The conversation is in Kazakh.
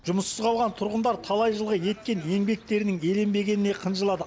жұмыссыз қалған тұрғындар талай жылғы еткен еңбектерінің еленбегеніне қынжылады